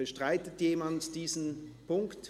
Bestreitet jemand diesen Punkt?